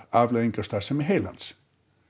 afleiðing af starfsemi heilans